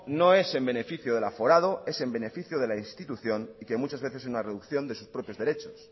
no es en beneficio del aforado es en beneficio de la institución y que muchas veces es una reducción de sus propios derechos